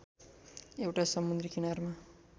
एउटा समुन्द्री किनारमा